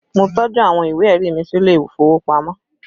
Mo tọ́jú àwọn ìwé ẹ̀rí mi sílé ìfowópamọ́